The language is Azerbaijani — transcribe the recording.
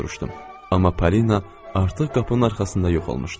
Amma Polina artıq qapının arxasında yox olmuşdu.